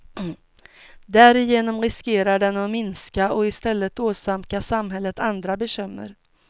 Därigenom riskerar den att minska och istället åsamka samhället andra bekymmer.